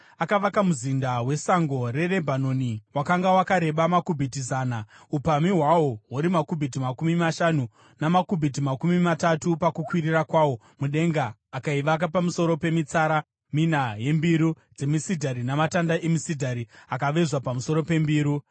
Akavaka Muzinda weSango reRebhanoni wakanga wakareba makubhiti zana , upamhi hwawo huri makubhiti makumi mashanu , namakubhiti makumi matatu pakukwirira kwawo mudenga, akaivaka pamusoro pemitsara mina yembiru dzemisidhari namatanda emisidhari akavezwa pamusoro pembiru.